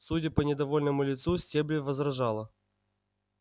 судя по недовольному лицу стебль возражала